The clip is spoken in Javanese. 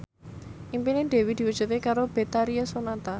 impine Dewi diwujudke karo Betharia Sonata